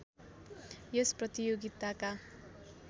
यस प्रतियोगिताका